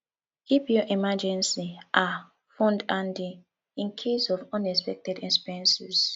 keep your emergency um fund handy in case of unexpected expenses